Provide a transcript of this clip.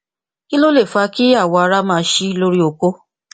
kí ló lè fa kí awọ ara máa ṣí lórí okó